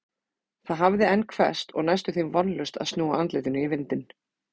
Það hafði enn hvesst og næstum því vonlaust að snúa andlitinu í vindinn.